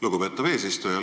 Lugupeetav eesistuja!